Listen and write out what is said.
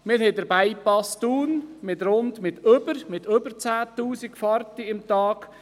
Wir haben den Bypass Thun mit über 10 000 Fahrten pro Tag.